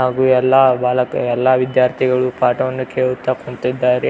ಹಾಗು ಎಲ್ಲ ಗಾಲಕ್ಕೆ ಎಲ್ಲ ವಿದ್ಯಾರ್ಥಿಗಳು ಪಾಠವನ್ನು ಕೇಳುತ್ತಾ ಕುಂತಿದ್ದಾರೆ.